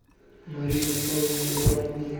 марина павловна абрамова